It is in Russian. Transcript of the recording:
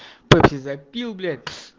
тохе забил блять